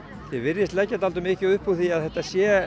þið virðist leggja mikið upp úr því að þetta sé